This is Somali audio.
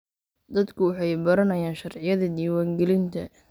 Dadku waxay baranayaan sharciyada diiwaangelinta.